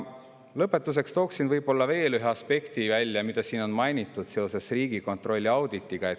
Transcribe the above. Lõpetuseks toon välja veel ühe aspekti, mida siin on mainitud seoses Riigikontrolli auditiga.